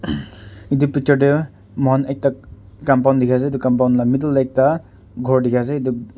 etu picture te moikhan ekta compound dikhi ase etu compound la middle te ekta ghor dikhi ase etu ghor.